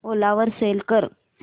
ओला वर सेल कर